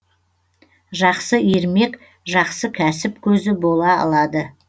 жақсы ермек жақсы кәсіп көзі бола алады